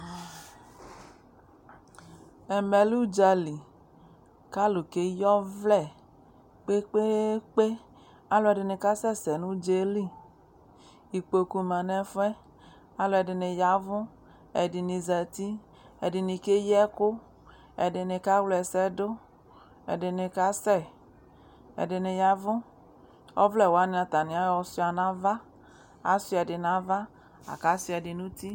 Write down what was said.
Ɛmɛ l ' ʋdzali , k'alʋ keyi ɔvlɛ kpekpeekpe ; alʋɛdɩnɩ kasɛ sɛ n'ʋdzaɛ li Ikpoku ma n'ɛfʋɛ , alʋɛdɩnɩ y'avʋ , ɛdɩnɩ zati , ɛdɩnɩ keyi ɛkʋ , ɛdɩnɩ kawlɛsɛdʋ, ɛdɩnɩ kasɛ, ɛdɩnɩ yavʋ Ɔvlɛwanɩ atamɩɔɣɔ sʋɩa n'ava , asʋɩɛdɩ n'ava , la k'asʋɩaɛdɩ n'uti